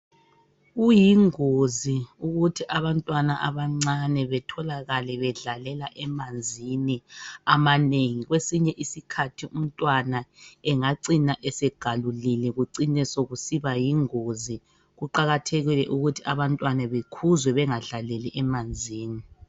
Kuyingozi ukuthi abantwana abancane betholakale bedlalela emanzini amanengi kwesinye isikhathi umntwana engacina esengalulile kucine sokusiba yingozi kuqakathekile ukuthi abantwana bekhuzwe bengadlaleli emanzini.